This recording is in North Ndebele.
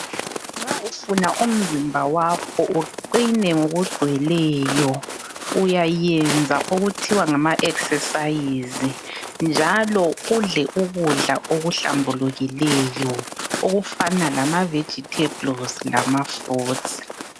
Nxa ufuna umzimba wakho uqine ngokugcweleyo, uyayenza okuthiwa ngama 'exercise' njalo udle ukudla okuhlambulukileyo okufana lama 'vegetables' lama 'fruits'.